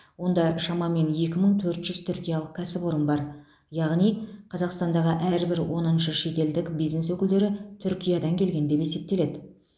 онда шамамен екі мың төрт жүз түркиялық кәсіпорын бар яғни қазақстандағы әрбір оныншы шетелдік бизнес өкілдері түркиядан келген деп есептеледі